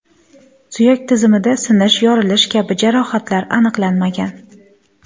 Suyak tizimida sinish, yorilish kabi jarohatlar aniqlanmagan.